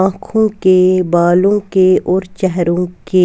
आंखों के बालों के और चेहरों के--